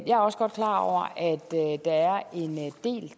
jeg er også godt klar over at